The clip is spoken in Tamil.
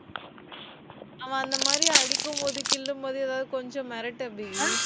அவன் அந்த மாதிரி அடிக்கும் போது கிள்ளும்போது ஏதாவது கொஞ்சம் மிரட்டு அபி